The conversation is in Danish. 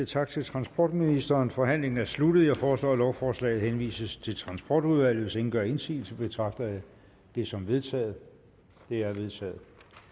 tak til transportministeren forhandlingen er sluttet jeg foreslår at lovforslaget henvises til transportudvalget hvis ingen gør indsigelse betragter jeg det som vedtaget det er vedtaget